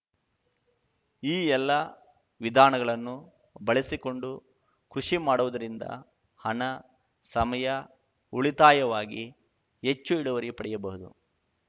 ಈ ಎಲ್ಲ ವಿಧಾನಗಳನ್ನು ಬಳಸಿಕೊಂಡು ಕೃಷಿ ಮಾಡುವುದರಿಂದ ಹಣ ಸಮಯ ಉಳಿತಾಯವಾಗಿ ಹೆಚ್ಚು ಇಳುವರಿ ಪಡೆಯಬಹುದು